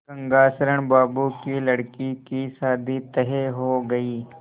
गंगाशरण बाबू की लड़की की शादी तय हो गई